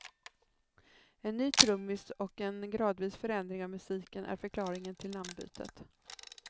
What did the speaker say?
En ny trummis och en gradvis förändring av musiken är förklaringen till namnbytet.